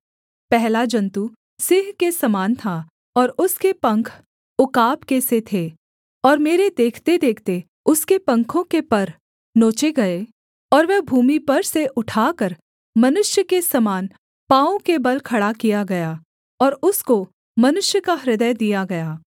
पहला जन्तु सिंह के समान था और उसके पंख उकाब के से थे और मेरे देखतेदेखते उसके पंखों के पर नीचे गए और वह भूमि पर से उठाकर मनुष्य के समान पाँवों के बल खड़ा किया गया और उसको मनुष्य का हृदय दिया गया